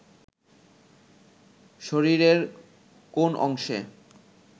শরীরের কোন অংশে